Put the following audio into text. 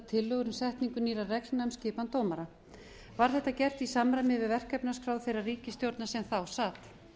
tillögur um setningu nýrra reglna um skipan dómara var þetta gert í samræmi á verkefnaskrá þeirrar ríkisstjórnar sem þá sat